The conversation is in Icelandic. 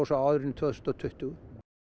á árinu tvö þúsund og tuttugu